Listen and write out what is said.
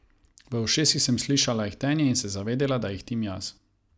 V ušesih sem slišala ihtenje in se zavedela, da ihtim jaz.